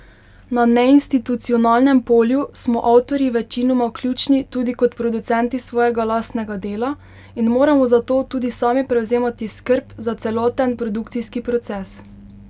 Na neinstitucionalnem polju smo avtorji večinoma ključni tudi kot producenti svojega lastnega dela in moramo zato tudi sami prevzemati skrb za celoten produkcijski proces.